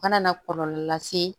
Kana na kɔlɔlɔ lase